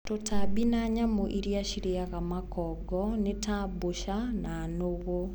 Tũtambi na nyamũ iria cirĩaga makongo ni ta mboca na nũgũ.